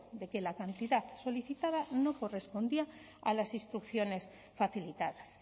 de que la cantidad solicitada no correspondía a las instrucciones facilitadas